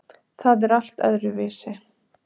Það er allt öðruvísi.